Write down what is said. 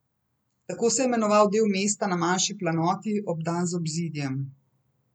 Tako se je imenoval del mesta na manjši planoti, obdan z obzidjem.